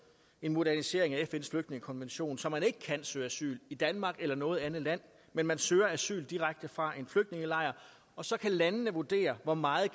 en modernisering af fns flygtningekonvention så man ikke kan søge asyl i danmark eller noget andet land men søger asyl direkte fra en flygtningelejr og så kan landene vurdere hvor meget